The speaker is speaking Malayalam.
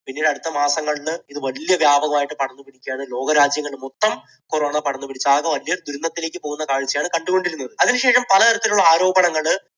പിന്നീട് അടുത്ത മാസങ്ങളിൽ ഇത് വലിയ വ്യാപകമായി പടർന്നു പിടിക്കുകയാണ്. ലോകരാജ്യങ്ങൾ മൊത്തം corona പടർന്നു പിടിച്ചു ആകെമൊത്തം ദുരന്തത്തിലേക്ക് പോകുന്ന കാഴ്ചയാണ് കണ്ടുകൊണ്ടിരുന്നത്. അതിനുശേഷം പല തരത്തിലുള്ള ആരോപണങ്ങൾ